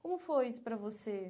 Como foi isso para você?